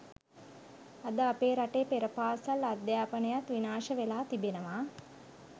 අද අපේ රටේ පෙරපාසල් අධ්‍යාපනයත් විනාශවෙලා තිබෙනවා